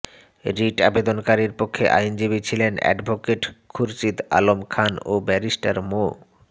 writ আবেদনকারীর পক্ষে আইনজীবী ছিলেন অ্যাডভোকেট খুরশীদ আলম খান ও বারিস্টার মো